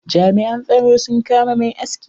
Jami'an tsaro sun kama mai aski.